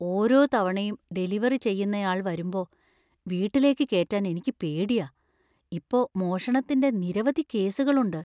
ഓരോ തവണയും ഡെലിവറി ചെയ്യുന്നയാൾ വരുമ്പോ വീട്ടിലേക്ക് കേറ്റാന്‍ എനിക്ക് പേടിയാ. ഇപ്പോ മോഷണത്തിന്‍റെ നിരവധി കേസുകളുണ്ട്.